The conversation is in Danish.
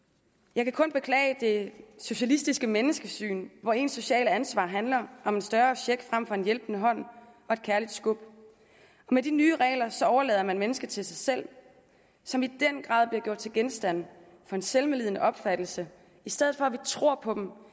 jeg kan kun beklage det socialistiske menneskesyn hvor ens sociale ansvar handler om en større check frem for en hjælpende hånd og et kærligt skub og med de nye regler overlader man mennesker til sig selv som i den grad bliver gjort til genstand for en selvmedlidende opfattelse i stedet for at vi tror på dem